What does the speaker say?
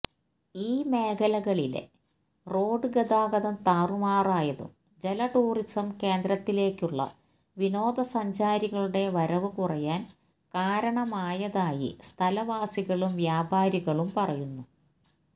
ഈ മേഖലകളിലെ റോഡ് ഗതാഗതം താറുമാറായതും ജലടൂറിസം കേന്ദ്രത്തിലേക്കുള്ള വിനോദസഞ്ചാരികളുടെ വരവ് കുറയാൻ കാരണമായതായി സ്ഥലവാസികളും വ്യാപാരികളും പറയുന്നു